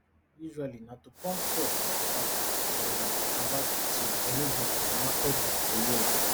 usually na to pump fuel from port harcourt to um aba to enugu to makurdi to yola